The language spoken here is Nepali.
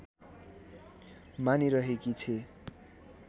मानिरहेकी छे